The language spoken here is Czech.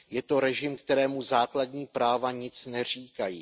Je to režim, kterému základní práva nic neříkají.